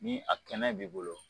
Ni a kɛnɛ b'i bolo